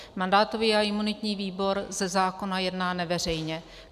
Mandátový a imunitní výbor ze zákona jedná neveřejně.